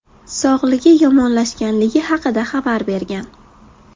sog‘ligi yomonlashganligi haqida xabar bergan.